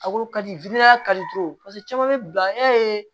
A ko ka di kalitew ye paseke caman bɛ bila e